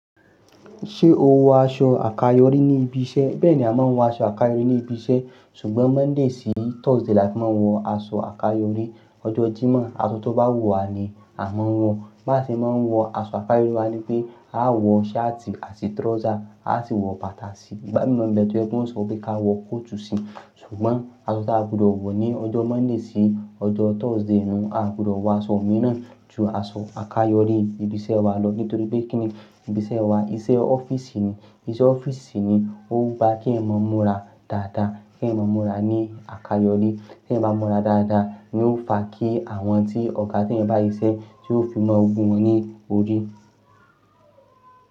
Ṣé o wọ aṣọ àkayọ̀rí ní ibi iṣẹ́? Bẹ́ẹ̀ ni a máa ń wọ aṣọ àkayọ̀rí ní ibi iṣẹ́, ṣùgbọ́n Monday sí Thursday láti máa wọ aṣọ àkayọ̀rí. Ọjọ́ Jímọ̀, aṣọ tó bá wù wá ni a máa ń wọ̀. Má ṣe máa wọ aṣọ àkayọ̀rí máa ní pé, a á wọ shirt àti trouser, a á sì wọ bàtà sí i. Ìbá mi mọ̀ ẹgbẹ́ tiwon sọ wípé ká wọ coat sì. Ṣùgbọ́n aṣọ tí a gbọdọ̀ wọ̀ ní ọjọ́ Monday sí ọjọ́ Thursday ni a gbọdọ̀ wọ aṣọ mìíràn ju aṣọ àkayọ̀rí ibi iṣẹ́ wá lọ nítorí pé kíni ibi iṣẹ́ wá, iṣẹ́ office ni. Iṣẹ́ office si ni, o gba kí ẹ̀eyan ma mura dáadáa, kí ẹ̀yán ma mura ní àkayọ̀rí. Kí ẹ̀ bá mọ́ra dáadáa ni ó fa kí àwọn tí ọ̀gá tí ẹ̀ ń bá yí ṣẹ́, tí ó fi máa wu wọn ní orí.